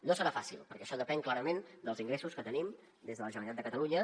no serà fàcil perquè això depèn clarament dels ingressos que tenim des de la generalitat de catalunya